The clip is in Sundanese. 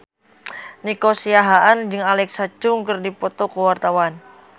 Nico Siahaan jeung Alexa Chung keur dipoto ku wartawan